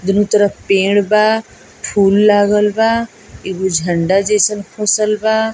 दुनू तरफ पेड़ बा फूल लागल बा एगो झंडा जैसन खोसल बा |